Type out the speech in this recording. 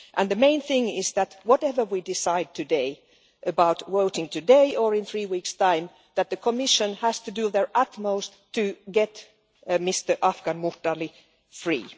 The main thing is that, whatever we decide today about voting today or in three weeks' time, the Commission has to do their utmost to get Mr Afgan Mukhtarli free.